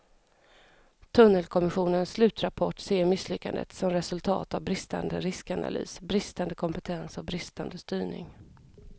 Tunnelkommissionens slutrapport ser misslyckandet som resultat av bristande riskanalys, bristande kompetens och bristande styrning.